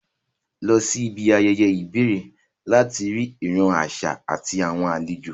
Lọ síbi ayẹyẹ ìbẹ̀rẹ̀ láti rí ìran àṣà àti àwọn àlejò